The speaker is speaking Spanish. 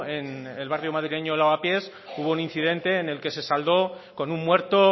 en el barrio madrileño de lavapies hubo un incidente en el que se saldó con un muerto